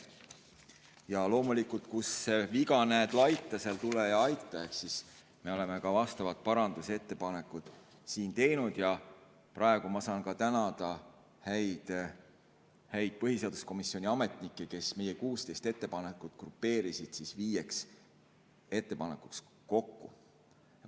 Ja loomulikult, kus viga näed laita, seal tule ja aita, ehk me oleme ka vastavad parandusettepanekud siin teinud ja praegu ma saan tänada häid põhiseaduskomisjoni ametnikke, kes meie 16 ettepanekut grupeerisid viieks ettepanekuks kokku.